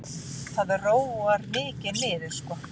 Það róar mikið niður sko.